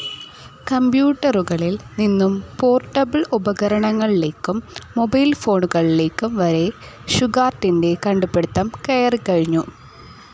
കമ്പ്യൂട്ടറുകളിൽ നിന്നും പോർട്ടബിൾ ഉപകരണങ്ങളിലേക്കും മൊബൈൽ ഫോണുകളിലേക്കും വരെ ഷുഗാർട്ടിൻറെ കണ്ടുപിടിത്തം കയറികഴിഞ്ഞു.